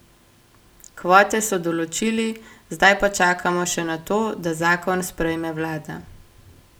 Kvote so določili, zdaj pa čakamo še na to, da zakon sprejme vlada.